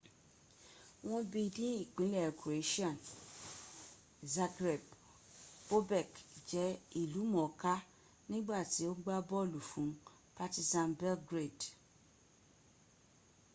wọ́n bi ní ìpínlẹ̀ croatian zagreb bobek jẹ́ ìlúmọ̀ọ́lá nígbàtí ò ń gbá bọ́ọ̀lù fún partizan belgrade